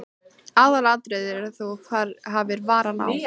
Aðalatriðið er að þú hafir varann á.